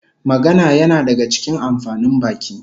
Magana yana daga cikin amfanin baki